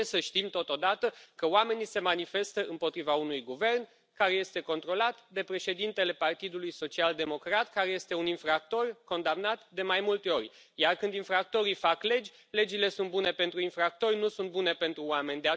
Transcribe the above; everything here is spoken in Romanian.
Trebuie să știm, totodată, că oamenii se manifestă împotriva unui guvern care este controlat de președintele Partidului Social Democrat, care este un infractor condamnat de mai multe ori, iar când infractorii fac legi, legile sunt bune pentru infractori, nu sunt bune pentru oameni.